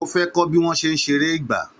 Ó fẹ́ kọ́ bí wọ́n ṣe ń ṣeré ìgbà